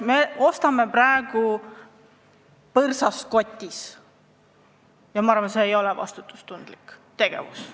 Me ostame praegu põrsast kotis ja ma arvan, et see ei ole vastutustundlik tegevus.